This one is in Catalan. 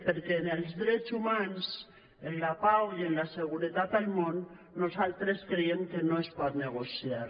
perquè amb els drets humans amb la pau i amb la seguretat al món nosaltres creiem que no es pot negociar